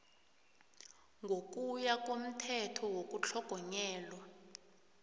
ngokuya komthetho wokutlhogonyelwa